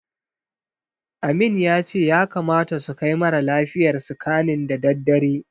Amin ya ce ya kamata su kai mara lafiyar scanning da daddare.